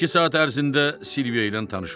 İki saat ərzində Silviya ilə tanış olub.